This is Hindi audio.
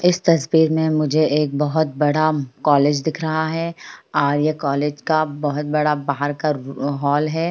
इस तस्वीर में मुझे एक बहुत बड़ा कॉलेज दिख रहा है और ये कॉलेज का बहुत बड़ा बाहर का हॉल है।